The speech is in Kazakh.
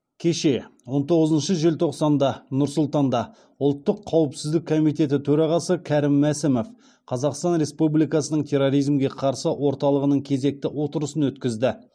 кеше он тоғызыншы желтоқсанда нұр сұлтанда ұлттық қауіпсіздік комитеті төрағасы кәрім мәсімов қазақстан республикасының терроризмге қарсы орталығының кезекті отырысын өткізді